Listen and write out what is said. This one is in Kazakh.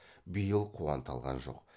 биыл қуанта алған жоқ